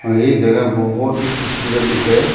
और ये जगह बहोत ही खूबसूरत दिख रहा है।